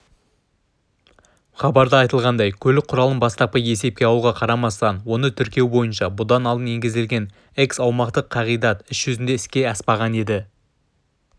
хабарда айтылғандай көлік құралының бастапқы есепке алуға қарамастан оны тіркеу бойынша бұдан алдын енгізілген эксаумақтық қағидат іс жүзінде іске аспаған еді